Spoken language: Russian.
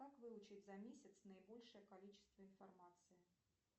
как выучить за месяц наибольшее количество информации